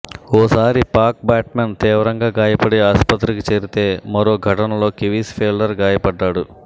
ఓసారి పాక్ బ్యాట్స్మన్ తీవ్రంగా గాయపడి ఆసుపత్రికి చేరితే మరో ఘటనలో కివీస్ ఫీల్డర్ గాయపడ్డాడు